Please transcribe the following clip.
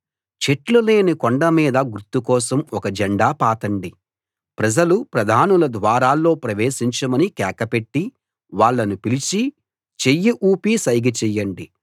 చెట్లు లేని కొండ మీద గుర్తు కోసం ఒక జెండా పాతండి ప్రజలు ప్రధానుల ద్వారాల్లో ప్రవేశించమని కేకపెట్టి వాళ్ళను పిలిచి చెయ్యి ఊపి సైగ చెయ్యండి